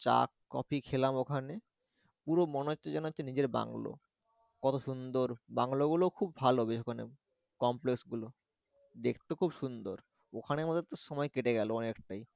চা কফি খেলাম ওখানে পুরো মনে হচ্ছে যেন নিজের বাংলো কত সুন্দর বাংলো গুলো খুব ভালো বেশ মানে complex গুলো দেখতে খুব সুন্দর ওখানের মধ্যে তো সময় কেটে গেলো অনেকটাই।